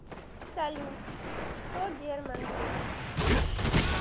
салют кто герман грех